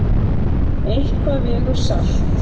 Eitthvað vegur salt